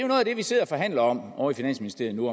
noget af det vi sidder og forhandler om ovre i finansministeriet nu